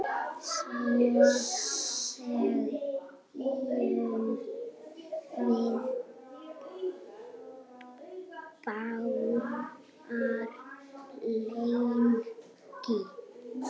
Svo þegjum við báðar lengi.